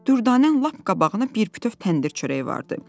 Dürdanənin lap qabağına bir bütöv təndir çörəyi vardı.